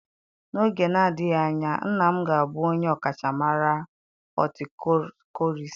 N'oge na-adịghị anya nna m ga-abụ onye ọkachamara hotịkochorist.